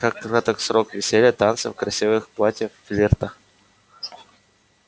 как краток срок веселья танцев красивых платьев флирта